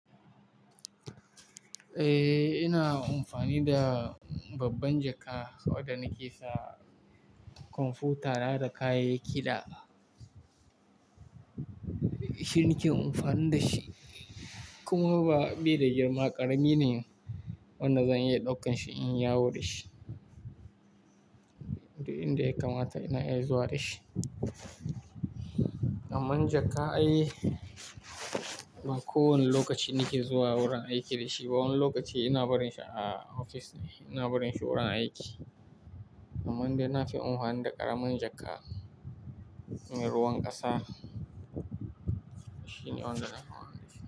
Eh, ina amfani da babban jaka saboda nake sa kwamfuta da kayayyaki da shi nake amfani da shi. Kuma ba bai da girma ƙarami ne, wannan zan iya ɗaukan shi in yawo da shi. Inda ya kamata ina iya zuwa da shi. Amman jaka ai, ba kowane lokaci nake zuwa wurin aiki da shi ba. Wani lokaci ina barin shi a ofis ne, ina barin shi wurin aiki. Amma indai na fi amfani da ƙaramin jaka, ruwan ƙasa shine wanda na.